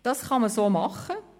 Das kann man so machen.